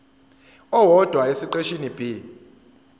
owodwa esiqeshini b